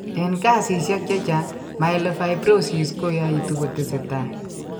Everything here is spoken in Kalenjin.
Eng' kesisiek chechang', myelofibrosis koyaitu kotesetai.